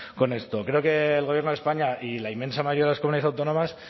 con esto creo que el gobierno de españa y la inmensa mayoría de las comunidades autónomas